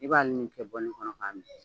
I b'a ni nin kɛ bɔlini kɔnɔ k'a min.